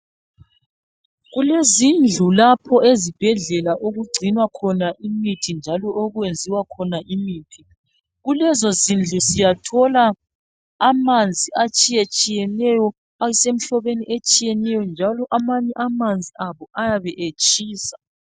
Kulezindlu lapho ezibhedlela okugcinwa khona imithi njalo okwenziwa khona imithi, kulezo zindlu siyathola amanzi atshiye tshiyeneyo asemhlobeni etshiyeneyo njalo amanye amanzi abo ayabe etshisa.